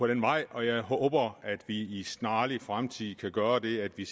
den vej og jeg håber at vi i en snarlig fremtid kan gøre det at vi